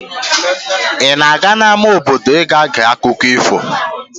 Ị na-aga n'ámá obodo iga gee akụkọ ifo?